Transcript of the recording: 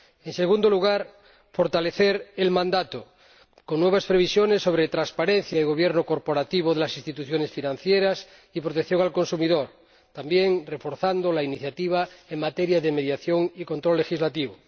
En segundo lugar, fortalecer el mandato con nuevas previsiones sobre transparencia y gobierno corporativo de las instituciones financieras y protección del consumidor, también reforzando la iniciativa en materia de mediación y control legislativo.